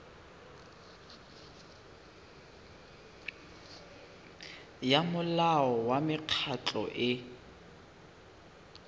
ya molao wa mekgatlho e